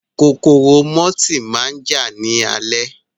Kòkòrò mọ́tì máa jà ní alẹ́